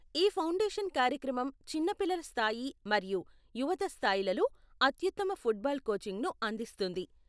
ఈ ఫౌండేషన్ కార్యక్రమం చిన్న పిల్లల స్థాయి మరియు యువత స్థాయిలలో అత్యుత్తమ ఫుట్బాల్ కోచింగ్ను అందిస్తుంది.